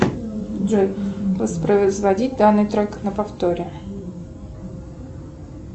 джой воспроизводить данный трек на повторе